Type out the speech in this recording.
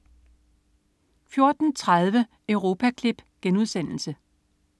14.30 Europaklip*